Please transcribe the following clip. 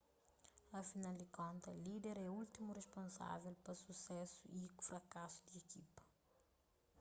afinal di konta líder é últimu risponsável pa susésu y frakasu di ekipa